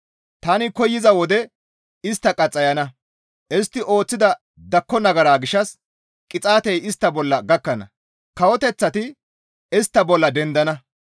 Tani koyza wode istta qaxxayana; Istti ooththida dakko nagara gishshas qixaatey istta bolla gakkana; kawoteththati istta bolla dendana.